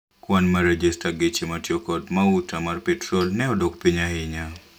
Kwan mar rejesta geche matiyo kod mauta mar petro ne odok piny ahinya.